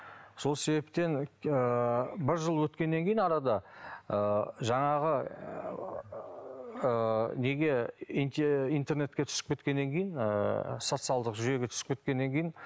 сол себептен ыыы бір жыл өткеннен кейін арада ы жаңағы ыыы неге интернетке түсіп кеткеннен кейін ыыы социалдық жүйеге түсіп кеткеннен кейін